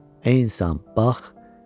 Ey insan, bax.